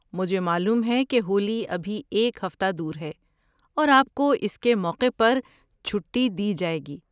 مجھے معلوم ہے کہ ہولی ابھی ایک ہفتہ دور ہے اور آپ کو اس کے موقع پر چھٹی دی جائے گی۔